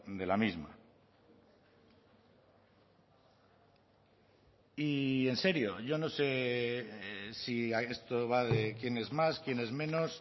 de la misma y en serio yo no sé si esto va de quién es más quién es menos